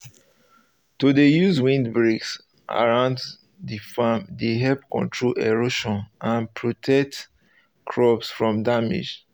to dey use windbreaks around the farm dey help control erosion and ptotect crops from damage